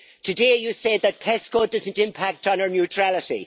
Today you say that PESCO doesn't impact on our neutrality.